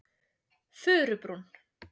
Furubrún